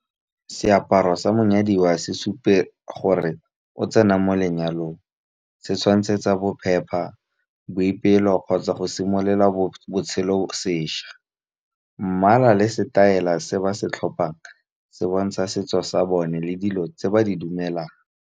Seaparo sa monyadiwa se supe gore o tsena mo lenyalong, se tshwantshetsa bophepha, boipelo kgotsa go simolola botshelo sešwa. Mmala le setaela se ba se tlhopang se bontsha setso sa bone le dilo tse ba di dumelang.